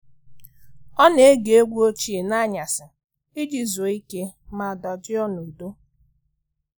ọ na-ege egwu oge ochie n'anyasị iji zuru ike ma dajụọ n'udo.